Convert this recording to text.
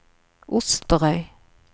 Osterøy